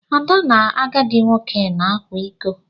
Ada na agadi nwoke na-akwa ịkọ.